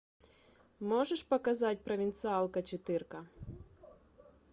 можешь показать провинциалка четырка